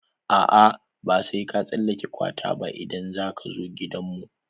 A'a, ba sai ka tsallake kwata ba idan za ka zo gidan mu.